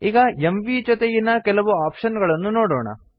ಈಗ ಎಂವಿ ಜೊತೆಗಿನ ಕೆಲವು ಆಪ್ಶನ್ ಗಳನ್ನು ನೋಡೋಣ